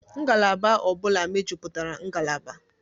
Ngalaba ọ bụla mejupụtara ngalaba.